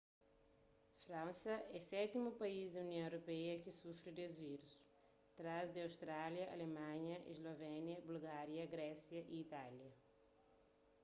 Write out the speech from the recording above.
fransa é sétimu país di união europeia ki sufri des vírus trás di áustria alemanha eslovénia bulgária grésia y itália